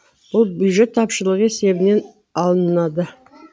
бұл бюджет тапшылығы есебінен алынады